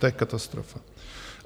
To je katastrofa.